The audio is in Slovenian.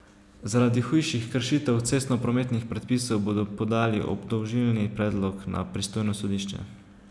Zaradi hujših kršitev cestnoprometnih predpisov bodo podali obdolžilni predlog na pristojno sodišče.